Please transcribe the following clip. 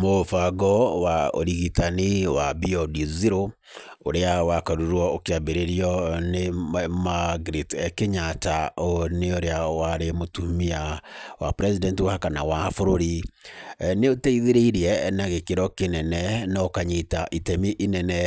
Mũbango wa ũrigitani wa Beyond Zero ũrĩa wakorirwo ũkĩambĩrĩrio nĩ Margaret Kenyatta, ũyũ nĩ ũrĩa warĩ mũtumia wa President wa kana wa bũrũri. Nĩ ũteithĩrĩirie na gĩkĩro kĩnene na ũkanyita itemi inene